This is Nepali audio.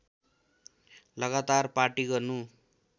लगातार पार्टी गर्नु